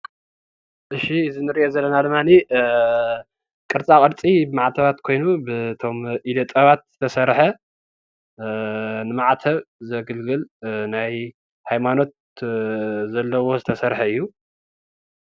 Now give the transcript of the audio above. እሺ እዚ ንርኦ ዘለና ድማኒ ቅርፃ ቅርፂ ማዕተባት ኮይኑ በቶም ኢደ ጥበባት ዝተስርሕ ንማዕተብ ዘግልግል ናይ ሃይማኖት ዘለዎ ዝተሰርሐ እዩ።